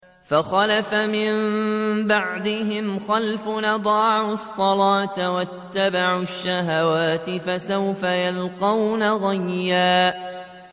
۞ فَخَلَفَ مِن بَعْدِهِمْ خَلْفٌ أَضَاعُوا الصَّلَاةَ وَاتَّبَعُوا الشَّهَوَاتِ ۖ فَسَوْفَ يَلْقَوْنَ غَيًّا